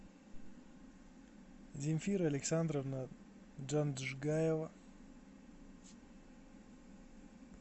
земфира александровна джанджгаева